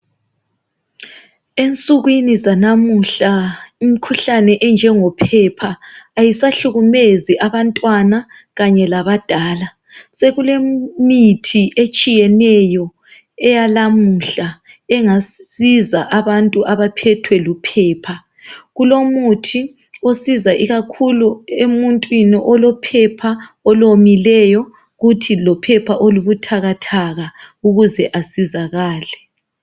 Ensukwini zalamuhla, imikhuhlane enjengophepha, kayisahlukumezi abantwana kanye labadala. Sekulemithi etshiyeneyo, eyalamuhla. Engasiza abantu abaphethwe luphepha. Kulomuthi osiza ikakhulu emuntwini olophepha olomileyo. Kuthi lophepha olubuthakathaka. Ukuze asizakale.